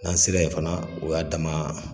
N'an sera yen fana o y'a dama